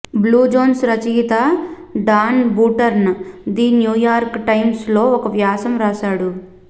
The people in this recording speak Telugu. బ్లూ జోన్స్ రచయిత Dan Buettner the New York Times లో ఒక వ్యాసం వ్రాసాడు